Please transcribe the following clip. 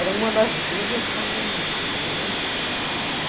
Era uma das brigas com a minha mãe, né? Hurum.